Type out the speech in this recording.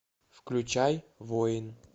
включай воин